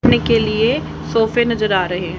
सोने के लिए सोफे नज़र आ रहे--